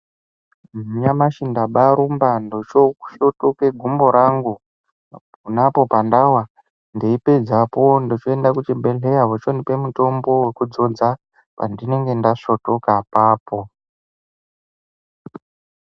Nyamashi ndabaarumba ndochoosvotoke gumbo rangu, pona apo pandawa, ndeipedzapo ndochoenda kuchibhedhleya vochondipe mutombo wekudzodza pandinenge ndasvotoka apapo .